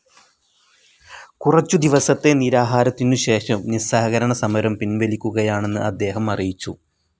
കുറച്ചു ദിവസത്തെ നിരാഹാരത്തിനുശേഷം നിസ്സഹകരണസമരം പിൻവലിക്കുകയാണെന്ന് അദ്ദേഹം അറിയിച്ചു.